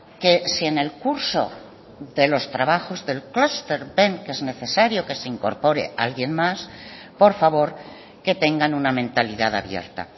que si en el curso de los trabajos del clúster ven que es necesario que se incorpore alguien más por favor que tengan una mentalidad abierta